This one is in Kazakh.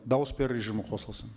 дауыс беру режимі қосылсын